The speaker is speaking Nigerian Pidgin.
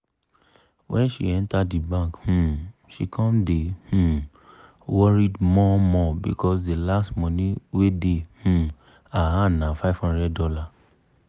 wen she enter di bank um she come dey um worried more-more becos di last money wey dey um her hand na $500.